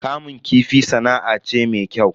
Kamun kifi sana'a ce me kyau.